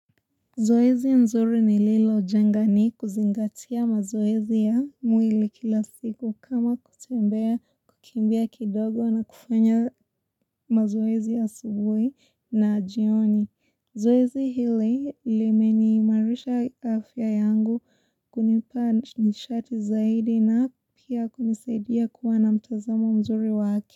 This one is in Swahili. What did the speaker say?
Zoezi mzuri nililo jenga ni kuzingatia mazoezi ya mwili kila siku kama kutembea kukimbia kidogo na kufanya mazoezi ya asubuhi na jioni zoezi hili limeniimarisha afya yangu kunipa nishati zaidi na pia kunisaidia kuwa na mtazamo mzuri wa haki.